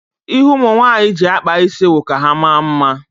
Ihe ụmụ nwaanyị ji akpa isi wụ ka ha maa mma.